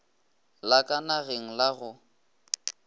la ka nageng la go